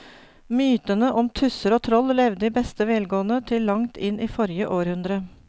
Mytene om tusser og troll levde i beste velgående til langt inn i forrige århundre.